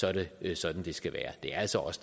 er det sådan det skal være det er altså os